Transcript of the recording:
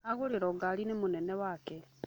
Agũrĩrwo ngarĩ nĩ mũnene wake.